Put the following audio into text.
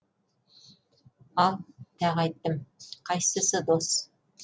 ал тағы айттым қайсысы дос